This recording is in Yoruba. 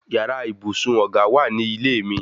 Yàrá ibùsùn ọ̀gá wà ní ilé mi